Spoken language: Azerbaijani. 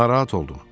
Narahat oldum.